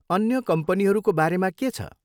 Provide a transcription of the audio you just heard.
अन्य कम्पनीहरूको बारेमा के छ?